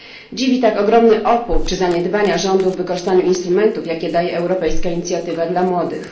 Dziwi tak ogromny opór czy zaniedbania rządu w wykorzystaniu instrumentów, jakie daje Europejska Inicjatywa dla Młodych.